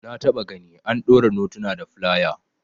Na taba gani an daure notuna da filaya